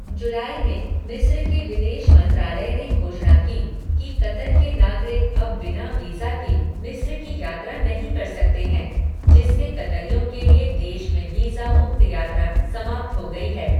जुलाई में, मिस्र के विदेश मंत्रालय ने घोषणा की कि कतर के नागरिक अब बिना वीज़ा के मिस्र की यात्रा नहीं कर सकते हैं, जिससे कतरियों के लिए देश में वीज़ा मुक्त यात्रा समाप्त हो गई है।